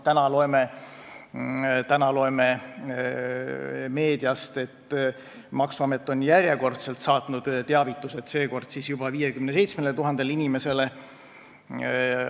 Täna loeme meediast, et maksuamet on järjekordselt saatnud teavitused, seekord siis juba 57 000 inimesele.